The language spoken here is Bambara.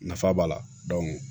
Nafa b'a la